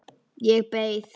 Ég beið.